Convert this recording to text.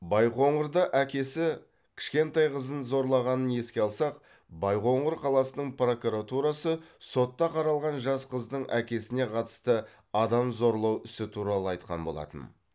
байқоңырда әкесі кішкентай қызын зорлағанын еске алсақ байқоңыр қаласының прокуратурасы сотта қаралған жас қыздың әкесіне қатысты адам зорлау ісі туралы айтқан болатын